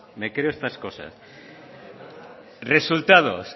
me creo estas cosas resultados